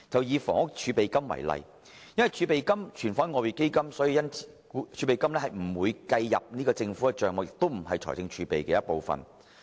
以房屋儲備金為例，由於儲備金是存放於外匯基金，所以不會計算在政府帳目內，同時亦不屬於財政儲備的一部分。